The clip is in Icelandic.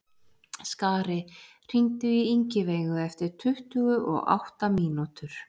Skari, hringdu í Ingiveigu eftir tuttugu og átta mínútur.